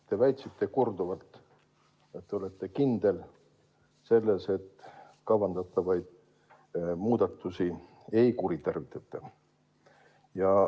Te väitsite korduvalt, et te olete kindel selles, et kavandatavaid muudatusi ei kuritarvitata.